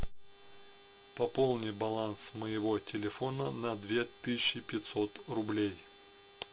пополни баланс моего телефона на две тысячи пятьсот рублей